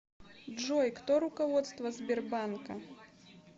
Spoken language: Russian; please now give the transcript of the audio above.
джой кто руководство сбербанка